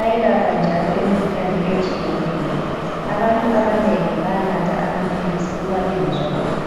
Ayelapha njalo imikhuhlane etshiyeneyo. Abantu abanengi bayanatha amaphilisi uma bengezwa kuhle.